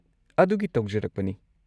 ꯑꯗꯨꯒꯤ ꯇꯧꯖꯔꯛꯄꯅꯤ꯫